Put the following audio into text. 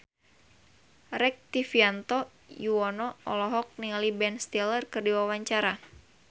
Rektivianto Yoewono olohok ningali Ben Stiller keur diwawancara